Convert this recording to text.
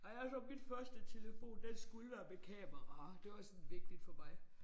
Jeg jeg sådan min første telefon den skulle være med kamera. Det var sådan vigtigt for mig